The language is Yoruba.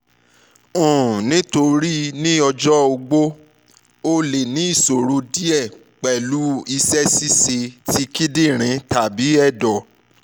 um nitori ọjọ ogbó o le ni iṣoro diẹ pẹlu awọn iṣẹ-ṣiṣe ti kidinrin tabi ẹdọ